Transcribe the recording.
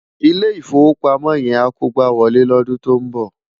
Ilé Ifówópámò yèn á kógbáwòlé lòdún tó n bò